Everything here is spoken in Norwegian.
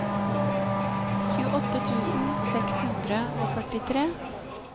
tjueåtte tusen seks hundre og førtitre